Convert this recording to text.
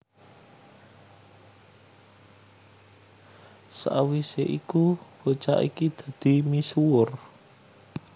Sawisé iku bocah iki dadi misuwur